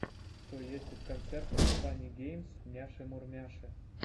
что есть из концертов фанни геймс няши мурмяши